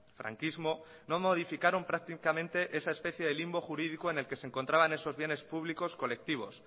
franquismo no modificaron prácticamente esa especie de limbo jurídico en el que se encontraban esos bienes públicos colectivos